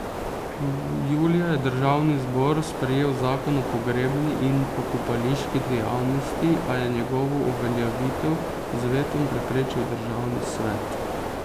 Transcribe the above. Julija je državni zbor sprejel zakon o pogrebni in pokopališki dejavnosti, a je njegovo uveljavitev z vetom preprečil državni svet.